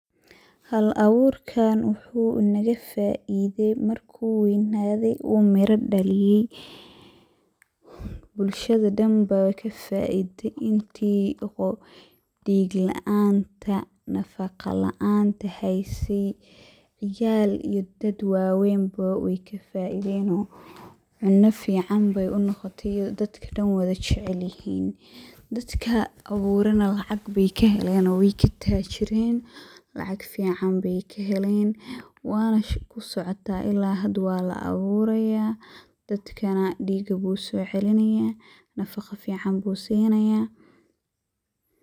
Hal aburkan wuxu nagafaide marku weynadayoo miro dhaliyey. Bulshada dan ba kafaide inti dhiiga laanta, nafaqo laanta heyse ciyal iyo dad waweenbo wey kafaideno cunno fican bey unoqote oo dadka dan wada jecelyihin. Dadka aburana lacag bey kaheleno wey katajiren lacag fican bey kahelen wana shaqo socoto ila hada walaaburaya, dadka dhiiga bu usocelinaya nafaqo bu sinaya.